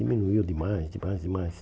Diminuiu demais, demais, demais.